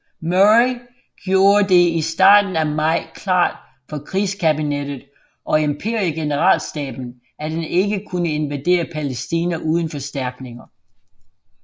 Murray gjorde det i starten af maj klart for krigskabinettet og imperiegeneralstaben at han ikke kunne invadere Palæstina uden forstærkninger